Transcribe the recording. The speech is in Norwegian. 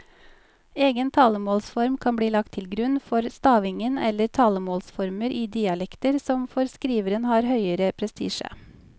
Egen talemålsform kan bli lagt til grunn for stavingen eller talemålsformer i dialekter som for skriveren har høgere prestisje.